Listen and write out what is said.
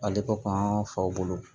Ale ko k'an faw bolo